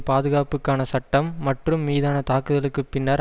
பாதுகாப்புக்கான சட்டம் மற்றும் மீதான தாக்குதலுக்கு பின்னர்